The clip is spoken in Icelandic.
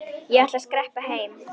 Ég ætla að skreppa heim.